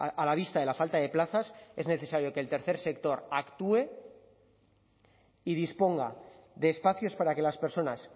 a la vista de la falta de plazas es necesario que el tercer sector actúe y disponga de espacios para que las personas